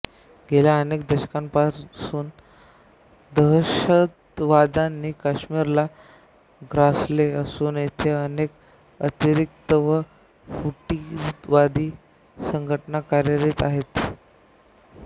गेल्या अनेक दशकांपासून दहशतवादाने काश्मीरला ग्रासले असून येथे अनेक अतिरेकी व फुटीरवादी संघटना कार्यरत आहेत